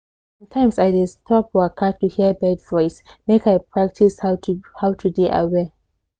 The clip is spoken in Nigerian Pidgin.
sometimes i dey stop waka to hear bird voice make i practice how to how to dey aware